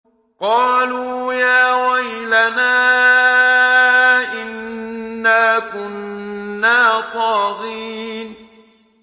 قَالُوا يَا وَيْلَنَا إِنَّا كُنَّا طَاغِينَ